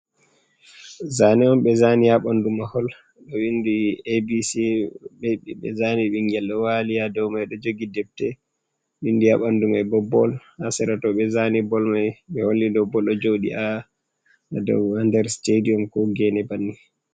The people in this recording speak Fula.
Zane on ɓe zani ha ɓandu mahol do windi abc be zani ɓiingel ɗo wali ha dow mai ɗo jogi ɗepte windi ha ɓandu mai bo bol ha sira to ɓe zani bol mai be holli dow bol ɗo jodi a dow ha nder stadium ko gene banni.